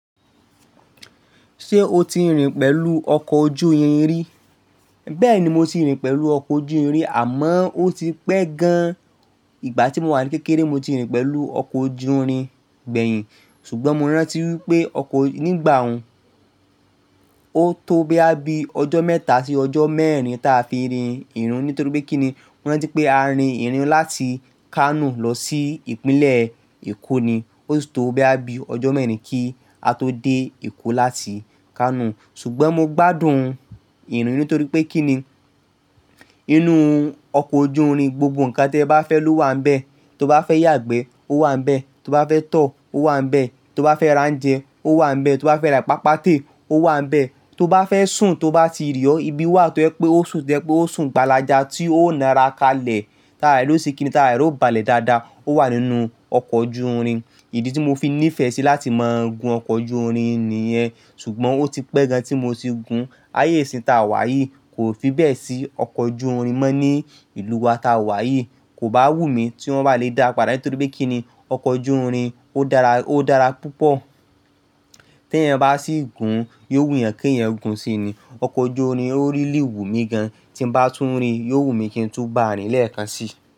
Ṣé o ti rìn pẹ̀lú ọkọ̀ ojú irin rí? Bẹ́ẹ̀ ni, mo ti rìn pẹ̀lú ọkọ̀ ojú irin àmọ́ ó ti pẹ́ gan. Ìgbà tí mo wà ní kékeré, mo ti rìn pẹ̀lú ọkọ̀ ojú irin gbẹ̀yìn ṣùgbọ́n mo rántí wípé ọkọ̀ nígbà ọ̀ún, ó tó boya bí ọjọ́ mẹ́ta sí ọjọ́ mẹ́rin táa fi rìn irin nítorí pé kí ni? Mo rántí pé á rìn irin láti Kano lọ sí ìpínlẹ̀ Èkó ni. Ó sì tó bo ya bí ọjọ́ mẹ́rin kí á tó dé Èkó láti Kano. Ṣùgbọ́n mo gbádùn irin nítorí pé kí ni? Inú ọkọ̀ ojú irin, gbogbo ǹkan tí ẹ bá fẹ́ lò wà ń bẹ. Tó bá fẹ́ yàgbẹ́, ó wà ń bẹ. Tó bá fẹ́ tọ́, ó wà ń bẹ. Tó bá fẹ́ ra ounje, ó wà ń bẹ. Tó bá fẹ́ rà ìpápátẹ ó wà ń bẹ. Tó bá fẹ́ sùn, tó bá ti rẹ ọ, ibi wà tó jẹ pé ó sùn to jẹ pé ó sùn gbalaja tí ó ńa ara kalẹ̀. Táàra rẹ o ṣe kí ni? Táàra rẹ o balẹ̀ dáadáa. Ó wà nínú ọkọ̀ ojú irin. Ìdí tí mo fi nífẹ̀ẹ́ sí láti máa gun ọkọ̀ ojú irin nìyẹn. Ṣùgbọ́n ó ti pẹ́ gan tí mo ti gun. Ayé ìsìn ta wà yìí kò fi bẹ́ẹ̀ sí ọkọ̀ ojú irin mọ́ ní ìlú wa ta wà yìí. Kò bá wù mí tí wọ́n bá le dáa padà nítorí pé kí ni? Ọkọ̀ ojú irin ó dára, ó dára púpọ̀. Tí eyan bá sì gun, yóò wù yan kí eyan gun síi ni. Ọkọ̀ ojú irin ó rí lì wu mi gan. Tí n bá tún rí, yóò wù mí kí ń tú n bá a rin lẹ́ẹ̀kan síi.